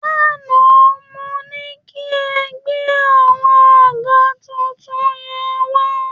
Lánàá mo ní kí ẹ gbé àwọn àga tuntun yẹn wá